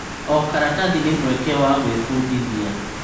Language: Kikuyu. O karatathi nĩ mweke wa gwĩbundithia.